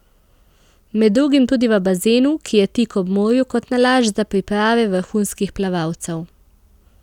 Med drugim tudi v bazenu, ki je tik ob morju kot nalašč za priprave vrhunskih plavalcev.